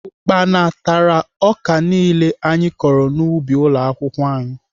Ukpana tara ọka niile anyị kọrọ n'ubi ụlọakwụkwọ anyị